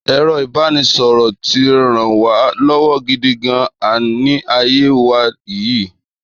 Èro ìbánisọ̀rọ̀ tí rán wa lọ́wọ́ gidi gan-an ni ayé wa yìí